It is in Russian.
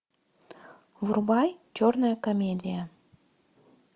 врубай черная комедия